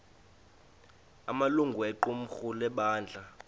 amalungu equmrhu lebandla